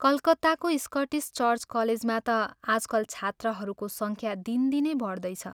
कलकत्ताको Scottish church कलेजमा ता आजकल छात्राहरूको संख्या दिनदिनै बढ्दैछ।